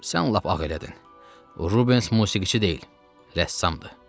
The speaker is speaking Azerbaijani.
Sən lap ağ elədin, Rubens musiqiçi deyil, rəssamdır.